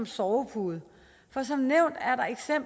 sovepude for som nævnt